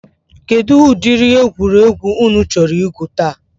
Kedụ ụdịrị egwuregwu ụnụ chọrọ igwu taa?